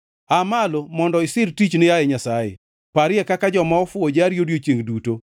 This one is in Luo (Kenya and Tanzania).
Aa malo mondo isir tichni, yaye Nyasaye; parie kaka joma ofuwo jari odiechiengʼ duto.